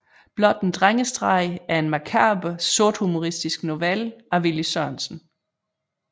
Blot en drengestreg er en makaber sorthumoristisk novelle af Villy Sørensen